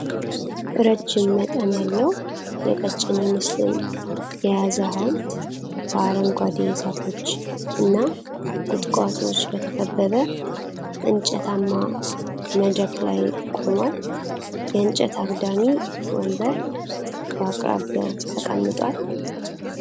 ረዥም መጠን ያለው የቀጭኔ ምስልን የያዘ ሐውልት በአረንጓዴ ዛፎች እና ቁጥቋጦዎች በተከበበ እንጨታማ መድረክ ላይ ቆሟል። የእንጨት አግዳሚ ወንበር በአቅራቢያው ተቀምጧል።